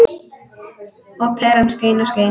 Og peran skein og skein.